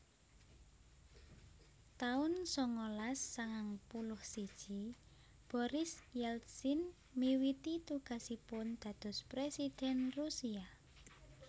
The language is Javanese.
taun sangalas sangang puluh siji Boris Yeltsin miwiti tugasipun dados Présidhèn Rusia